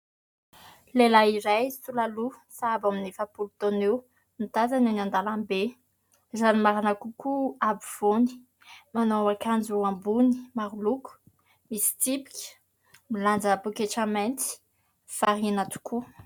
Lehilahy iray, sola loha sahabo eo amin'ny efapolo taona eo no tazana eny an-dalambe raha ny marina kokoa ampovoany. Manao akanjo ambony maro loko, misy tsipika, milanja poketra mainty ; variana tokoa.